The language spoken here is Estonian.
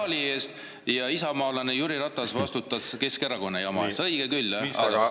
… kommunaali eest ja isamaalane Jüri Ratas vastutas Keskerakonna jama eest.